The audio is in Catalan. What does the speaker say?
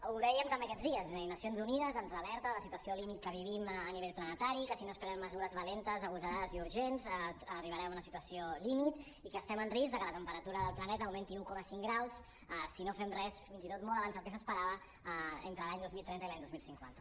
ho dèiem també aquests dies les nacions unides ens alerta de la situació límit que vivim a nivell planetari que si no es prenen mesures valentes agosarades i urgents arribarem a una situació límit i que estem en risc de que la temperatura del planeta augmenti un coma cinc graus si no fem res fins i tot molt abans del que s’esperava entre l’any dos mil trenta i l’any dos mil cinquanta